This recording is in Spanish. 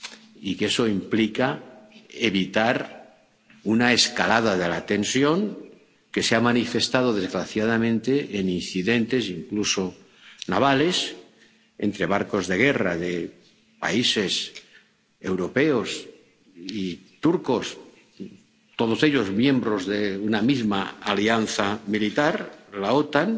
Y que eso implica evitar una escalada de la tensión, que se ha manifestado, desgraciadamente, en incidentes, incluso navales, entre barcos de guerra de países europeos y turcos —todos ellos miembros de una misma alianza militar la OTAN—